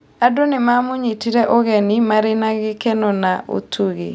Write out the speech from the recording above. Andũ nĩ maamũnyitire ũgeni marĩ na gĩkeno na ũtugi.